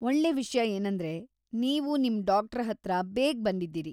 ಒಳ್ಳೇ ವಿಷ್ಯ ಏನಂದ್ರೆ, ನೀವು ನಿಮ್ ಡಾಕ್ಟರ್ಹತ್ರ ಬೇಗ ಬಂದಿದ್ದೀರಿ.